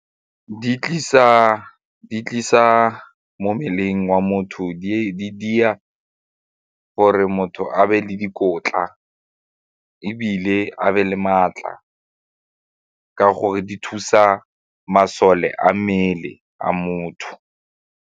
Di tlisa mo mmeleng wa motho di dira gore motho a be le dikotla ebile a be le maatla ka gore di thusa masole a mmele a motho.